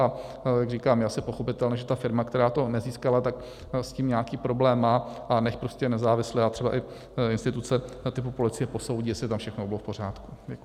A jak říkám, je asi pochopitelné, že ta firma, která to nezískala, tak s tím nějaký problém má, a nechť prostě nezávisle a třeba i instituce typu policie posoudí, jestli tam všechno bylo v pořádku.